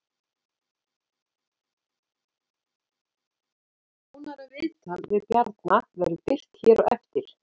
Nánara viðtal við Bjarna verður birt hér á eftir